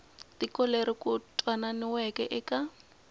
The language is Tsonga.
tiko leri ku twananiweke eka